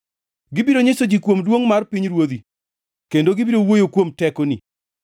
Gibiro nyiso ji kuom duongʼ mar pinyruodhi kendo gibiro wuoyo kuom tekoni,